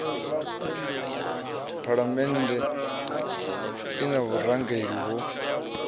phalamennde i na vhurangeli ho